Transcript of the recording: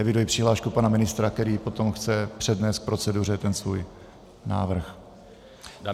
Eviduji přihlášku pana ministra, který potom chce přednést k proceduře ten svůj návrh.